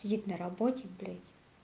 сидит на работе блять